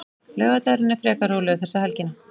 Laugardagurinn er frekar rólegur þessa helgina.